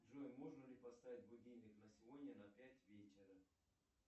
джой можно ли поставить будильник на сегодня на пять вечера